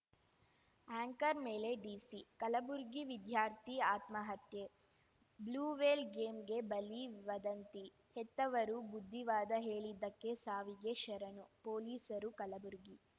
anchor ಮೇಲೆ DC Kalaburagi ವಿದ್ಯಾರ್ಥಿ ಆತ್ಮಹತ್ಯೆ ಬ್ಲೂವೇಲ್‌ ಗೇಮ್‌ಗೆ ಬಲಿ ವದಂತಿ ಹೆತ್ತವರು ಬುದ್ಧಿವಾದ ಹೇಳಿದ್ದಕ್ಕೆ ಸಾವಿಗೆ ಶರಣು ಪೊಲೀಸರು ಕಲಬುರಗಿ